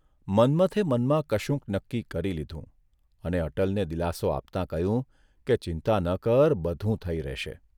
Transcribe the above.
મન્મથે મનમાં કશુંક નક્કી કરી લીધું અને અટલને દિલાસો આપતા કહ્યું કે ચિંતા ન કર બધું થઇ રહેશે.